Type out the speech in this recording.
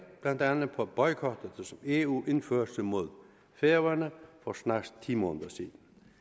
blandt andet på boykotten som eu indførte mod færøerne for snart ti måneder siden